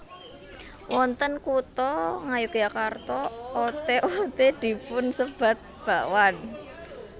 Wonten Kutha Ngayogyakarta oté oté dipun sebat bakwan